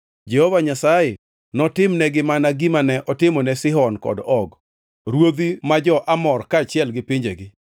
Jehova Nyasaye notimnegi mana gima ne otimone Sihon kod Og, ruodhi ma jo-Amor kaachiel gi pinjegi.